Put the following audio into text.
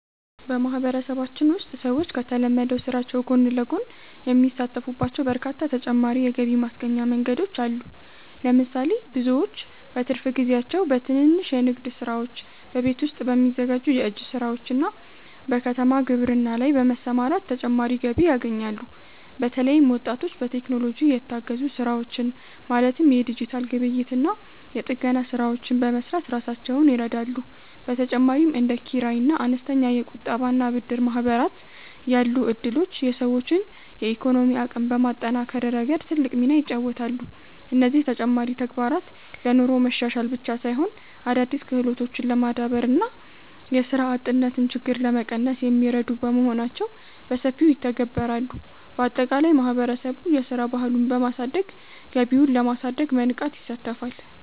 በማህበረሰባችን ውስጥ ሰዎች ከተለመደው ስራቸው ጎን ለጎን የሚሳተፉባቸው በርካታ ተጨማሪ የገቢ ማስገኛ መንገዶች አሉ። ለምሳሌ፣ ብዙዎች በትርፍ ጊዜያቸው በትንንሽ የንግድ ስራዎች፣ በቤት ውስጥ በሚዘጋጁ የእጅ ስራዎችና በከተማ ግብርና ላይ በመሰማራት ተጨማሪ ገቢ ያገኛሉ። በተለይም ወጣቶች በቴክኖሎጂ የታገዙ ስራዎችን ማለትም የዲጂታል ግብይትና የጥገና ስራዎችን በመስራት ራሳቸውን ይረዳሉ። በተጨማሪም እንደ ኪራይና አነስተኛ የቁጠባና ብድር ማህበራት ያሉ እድሎች የሰዎችን የኢኮኖሚ አቅም በማጠናከር ረገድ ትልቅ ሚና ይጫወታሉ። እነዚህ ተጨማሪ ተግባራት ለኑሮ መሻሻል ብቻ ሳይሆን፣ አዳዲስ ክህሎቶችን ለማዳበርና የስራ አጥነትን ችግር ለመቀነስ የሚረዱ በመሆናቸው በሰፊው ይተገበራሉ። ባጠቃላይ ማህበረሰቡ የስራ ባህሉን በማሳደግ ገቢውን ለማሳደግ በንቃት ይሳተፋል።